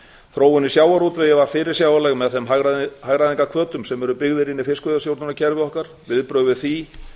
þróun í sjávarútvegi var fyrirsjáanleg með þeim hagræðingarhvötum sem eru byggð inn í fiskveiðistjórnarkerfi okkar viðbrögð við því